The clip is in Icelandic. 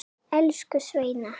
Elsku Sveina.